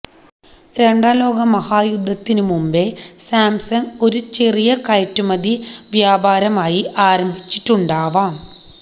രണ്ടാം ലോകമഹായുദ്ധത്തിനുമുമ്പേ സാംസങ് ഒരു ചെറിയ കയറ്റുമതി വ്യാപാരമായി ആരംഭിച്ചിട്ടുണ്ടാവാം